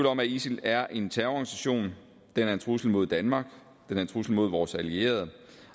om at isil er en terrororganisation den er en trussel mod danmark den er en trussel mod vores allierede